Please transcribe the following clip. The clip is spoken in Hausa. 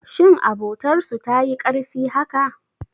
Shin abotar su tayi karfi haka?